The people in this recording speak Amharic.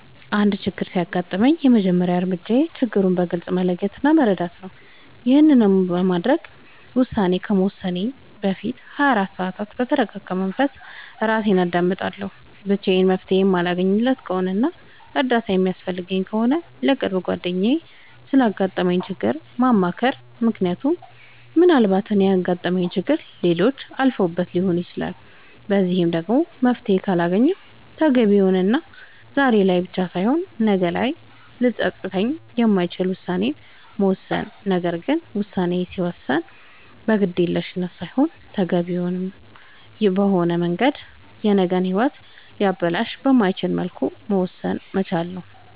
አንድ ችግር ሲያጋጥመኝ የመጀመሪያ እርምጃዬ ችግሩን በግልፅ መለየት እና መረዳት ነዉ ይሄንንም ለማድረግ ውሳኔ ከመወሰኔ በፊት ለ24 ሰዓት በተርጋጋ መንፈስ እራሴን አዳምጣለሁ ብቻዬን መፍትሄ የማለገኝለት ከሆነና እርዳታ የሚያስፈልገኝ ከሆነ ለቅርብ ጓደኛዬ ስላጋጠመኝ ችግር ማማከር ምክንያቱም ምናልባት እኔ ያጋጠመኝን ችግር ሌሎች አልፈውበት ሊሆን ይችላል በዚህም ደግሞ መፍትሄ ካልተገኘለት ተገቢ የሆነና ዛሬ ላይ ብቻ ሳይሆን ነገ ላይም ሊፀፅት የማይችል ውሳኔን መወሰን ነገር ግን ውሳኔ ሲወሰን በግዴለሽነት ሳይሆን ተገቢውን በሆነ መንገድ የነገ ሂወትን ሊያበላሽ በማይችልበት መልኩ መወሰን መቻል ነዉ